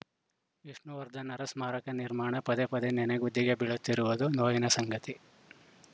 ವಿಷ್ಣುವರ್ಧನ್‌ರ ಸ್ಮಾರಕ ನಿರ್ಮಾಣ ಪದೇಪದೇ ನನೆಗುದಿಗೆ ಬೀಳುತ್ತಿರುವುದು ನೋವಿನ ಸಂಗತಿ